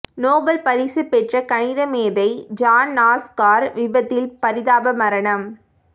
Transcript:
Nobel பரிசு பெற்ற கணித மேதை ஜான் நாஷ் கார் விபத்தில் பரிதாப மரணம்